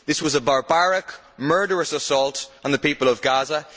This was a barbaric, murderous assault on the people of Gaza.